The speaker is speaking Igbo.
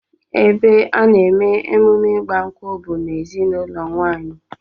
Ebe a na-eme emume ịgba nkwụ bụ n'ezinụlọ nke nwaanyị